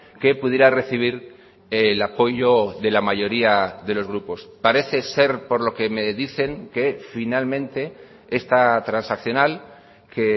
que pudiera recibir el apoyo de la mayoría de los grupos parece ser por lo que me dicen que finalmente esta transaccional que